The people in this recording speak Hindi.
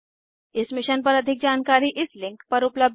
इस मिशन पर अधिक जानकारी इस लिंक पर उपलब्ध है